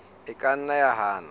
e ka nna ya hana